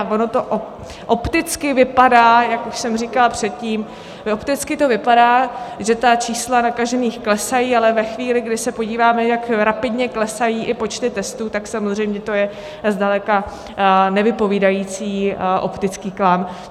A ono to opticky vypadá, jak už jsem říkala předtím, opticky to vypadá, že ta čísla nakažených klesají, ale ve chvíli, kdy se podíváme, jak rapidně klesají i počty testů, tak samozřejmě to je zdaleka nevypovídající optický klam.